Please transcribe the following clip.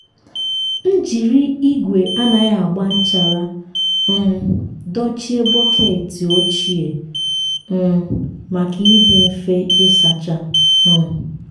m jiri igwe anaghị agba nchara um dochie bọket ochie um maka ịdị mfe ịsacha. um